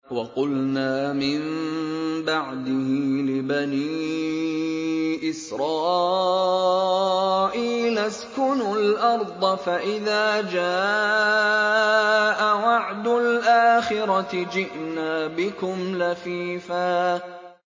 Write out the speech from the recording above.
وَقُلْنَا مِن بَعْدِهِ لِبَنِي إِسْرَائِيلَ اسْكُنُوا الْأَرْضَ فَإِذَا جَاءَ وَعْدُ الْآخِرَةِ جِئْنَا بِكُمْ لَفِيفًا